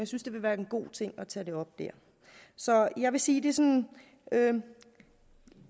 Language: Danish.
synes det vil være en god ting at tage det op dér så jeg vil sige at det sådan er en